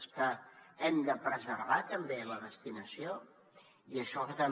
és que hem de preservar també la destinació i això ho fa també